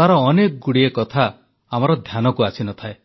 ତାର ଅନେକଗୁଡ଼ିଏ କଥା ଆମର ଧ୍ୟାନକୁ ଆସିନଥାଏ